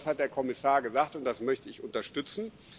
Genau das hat der Kommissar gesagt, und das möchte ich unterstützen.